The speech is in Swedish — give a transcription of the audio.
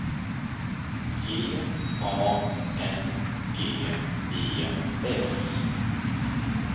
G A N G E S